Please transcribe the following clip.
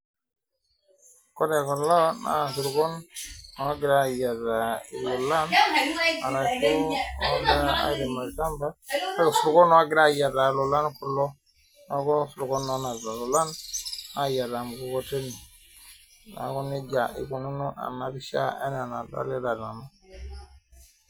Ore kulo naa esirkon onapita elolan arashu ogira airem olchamba esirkon ogira ayiataa kulo neeku esirkon onapita loolan ayiataa mkukoteni neeku nejia eikunono ena pisha enaa enadolita nanu